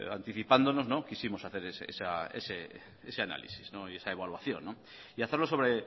anticipándonos quisimos hacer ese análisis y esa evaluación y hacerlo sobre